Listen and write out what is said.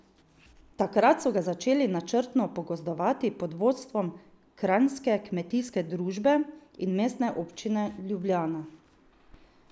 Takrat so ga začeli načrtno pogozdovati pod vodstvom Kranjske kmetijske družbe in Mestne občine Ljubljana.